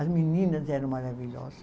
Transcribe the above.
As meninas eram maravilhosas.